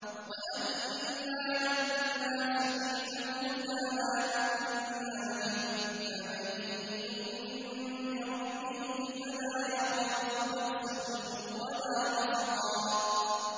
وَأَنَّا لَمَّا سَمِعْنَا الْهُدَىٰ آمَنَّا بِهِ ۖ فَمَن يُؤْمِن بِرَبِّهِ فَلَا يَخَافُ بَخْسًا وَلَا رَهَقًا